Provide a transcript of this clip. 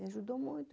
Me ajudou muito.